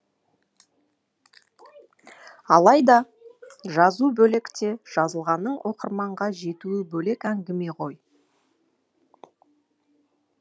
алайда жазу бөлек те жазылғанның оқырманға жетуі бөлек әңгіме ғой